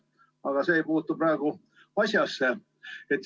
Aga see ei puutu praegu asjasse.